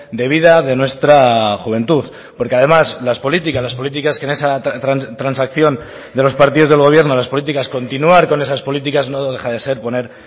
de vida de nuestra juventud porque además las políticas las políticas que en esa transacción de los partidos del gobierno las políticas continuar con esas políticas no deja de ser poner